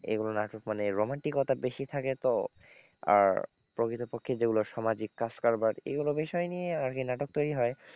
এগুলো নাটক মানে রোমান্টিকতা বেশি থাকে তো আর প্রকৃতপক্ষে যেগুলো সামাজিক কাজকারবার এগুলো বিষয় নিয়েই আরকি নাটক তৈরি হয়,